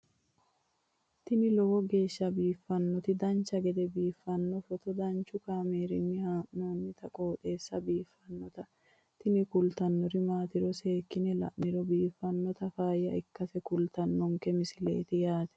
tini lowo geeshsha biiffannoti dancha gede biiffanno footo danchu kaameerinni haa'noonniti qooxeessa biiffannoti tini kultannori maatiro seekkine la'niro biiffannota faayya ikkase kultannoke misileeti yaate